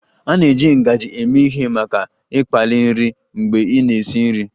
A na-eji ngaji eme ihe maka ịkpali nri mgbe ị na-esi nri